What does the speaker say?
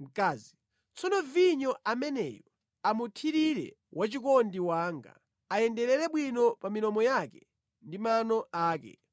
Mkazi Tsono vinyo ameneyu amuthirire wachikondi wanga, ayenderere bwino pa milomo yake ndi mano ake.